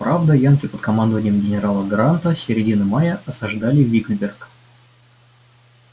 правда янки под командованием генерала гранта с середины мая осаждали виксберг